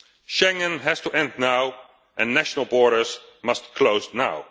Schengen has to end now and national borders must close now.